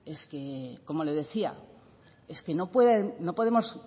como le decía es que no podemos